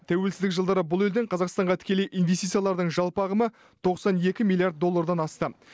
тәуелсіздік жылдары бұл елден қазақстанға тікелей инвестициялардың жалпы ағымы тоқсан екі миллиард доллардан асты